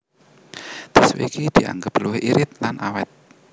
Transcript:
Tisu iki dianggep luwih irit lan awét